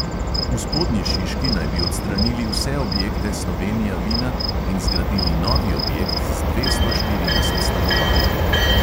V spodnji šiški naj bi odstranili vse objekte slovenija vina in zgradili novi objekt z dvesto štirideset stanovanji.